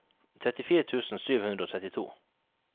trettifire tusen sju hundre og trettito